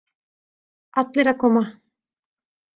Allir að koma.